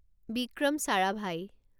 Vikram Sarabhai